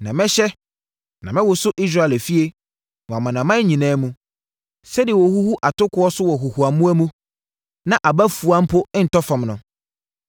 “Na mɛhyɛ, na mɛwoso Israel efie, wɔ amanaman nyinaa mu, sɛdeɛ wɔhuhu atokoɔ so wɔ huhuamoa mu na aba fua mpo ntɔ fam no.